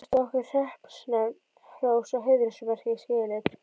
Víst á okkar hreppsnefnd hrós og heiðursmerki skilið.